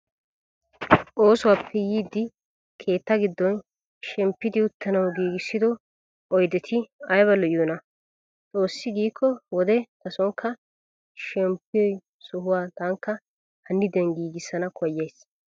Oosuwaappe yiidi keetta giddon shemppiiddi uttanawu giigissido oyideti ayiba lo'iyoonaa! xoossi giikko wode tasonkka shmppiyoo sohuwaa tankka hanniden giigissana koyyayisi.